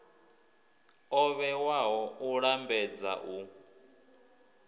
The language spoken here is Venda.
o vhewaho u lambedza u